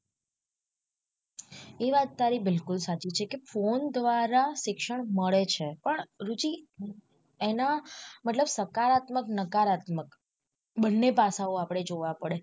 એ વાત તારી બિલકુલ સાચી છે કે phone દ્વારા શિક્ષણ મળે છે પણ રુચિ એના મતલબ સકારાત્મક નકારાત્મક બંને પાસાઓ આપડે જોવા પડે.